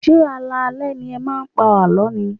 Ṣé alaalẹ́ ni ẹ máa ń pa àlọ́ ni?